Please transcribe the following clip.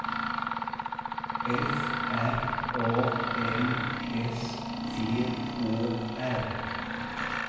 F R A M S T Å R